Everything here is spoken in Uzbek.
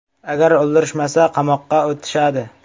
Agar o‘ldirishmasa, qamoqqa otishadi.